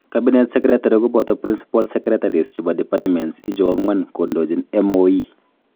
Cabinet secretary koboto principal secretaries chebo departments ichu ang'wan kondochin MoE